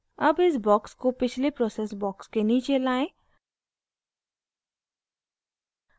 अब इस box को पिछले process box के नीचे लाएं